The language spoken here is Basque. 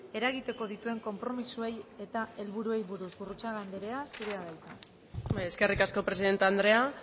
eragiteko dituen konpromisoei eta helburuei buruz gurrutxaga andrea zurea da hitza eskerrik asko presidenta andrea